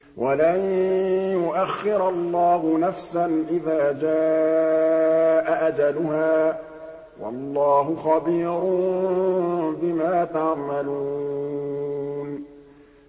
وَلَن يُؤَخِّرَ اللَّهُ نَفْسًا إِذَا جَاءَ أَجَلُهَا ۚ وَاللَّهُ خَبِيرٌ بِمَا تَعْمَلُونَ